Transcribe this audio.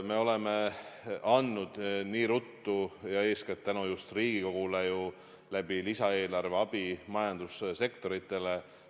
Me oleme andnud ruttu ja eeskätt tänu just Riigikogule ju lisaeelarve kaudu abi majandussektoritele.